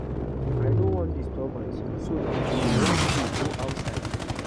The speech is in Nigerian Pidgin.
I no wan disturbance so if una wan play go outside